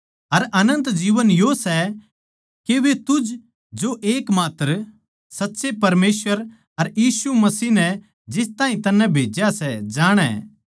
अर अनन्त जीवन यो सै के वे तुझ जो के एकमात्र साच्चे परमेसवर अर यीशु मसीह नै जिस ताहीं तन्नै भेज्या सै जाणै